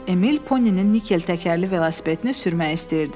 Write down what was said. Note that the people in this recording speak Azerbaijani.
Emil Poninin nikel təkərli velosipedini sürmək istəyirdi.